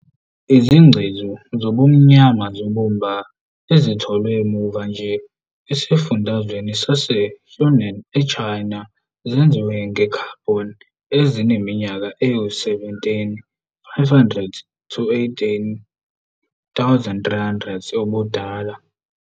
Izingcezu zobumba zobumba ezitholwe muva nje esifundazweni saseHunan eChina zenziwe nge-carbon ezineminyaka eyi-17 500-18,300 ubudala.